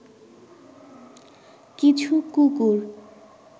কিছু কুকুর